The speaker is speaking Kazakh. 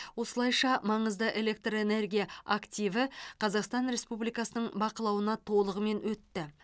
осылайша маңызды электрэнергия активі қазақстан республикасының бақылауына толығымен өтті